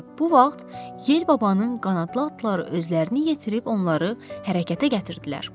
Elə bu vaxt yer babanın qanadlı atları özlərini yetirib onları hərəkətə gətirdilər.